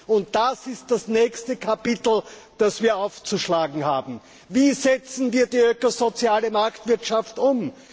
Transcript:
Und das ist das nächste Kapitel, das wir aufzuschlagen haben. Wie setzen wir die ökosoziale Marktwirtschaft um?